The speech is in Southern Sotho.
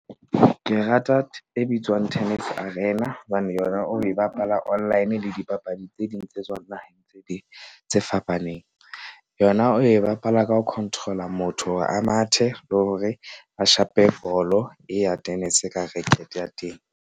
Ke rata e bitswang Tennis Arena. Hobane yona o e bapala online le dipapadi tse ding tse tswang naheng tse ding tse fapaneng. Yona o e bapala ka ho control-a motho hore a mathe le hore a shape bolo e ya tennis ka rekete ya teng.